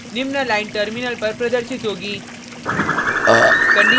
निम्न line terminal पर प्रदर्शित होगी